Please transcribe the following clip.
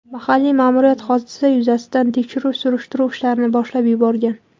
Mahalliy ma’muriyat hodisa yuzasidan tekshiruv-surishtiruv ishlarini boshlab yuborgan.